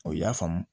O y'a faamu